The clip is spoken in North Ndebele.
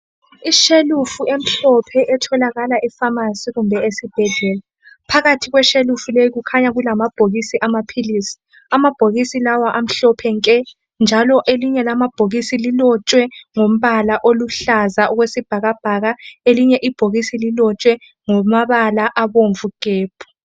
Ishelufu emhlophe etholakala ephamacy kumbe esibhedlela phakathi kweshelufu le kukhanya kulama bhokisi awamapills amabhokisi lawa amhlophe nke njalo elinye lamabhokisi lilotshwe ngombala oluhlaza okwesibhakabhaka elinye ibhokisi lilotshwe ngamabala abomvu gebhu